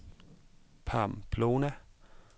Pamplona